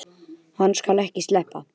Hann skal ekki sleppa!